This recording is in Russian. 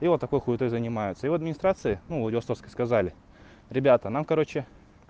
и вот такой хуетой занимаются и в администрации ну владивостовской сказали ребята нам короче